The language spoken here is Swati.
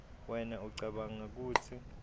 wena ucabanga kutsi